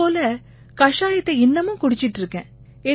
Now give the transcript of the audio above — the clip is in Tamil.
அதே போல கஷாயத்தை இன்னமும் குடிச்சுக்கிட்டு இருக்கேன்